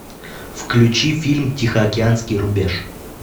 включи фильм тихоокеанский рубеж